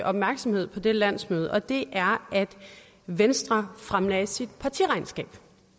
opmærksomhed på det landsmøde det er at venstre fremlagde sit partiregnskab